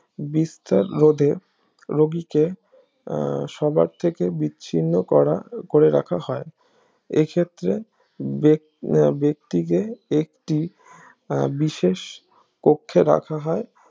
বিস্তার রোধের রুগীকে আহ সবার থেকে বিচ্ছিন্ন করা করে রাখা হয় এ ক্ষেত্রে বেক্তিকে একটি আহ বিশেষ পক্ষে রাখা হয়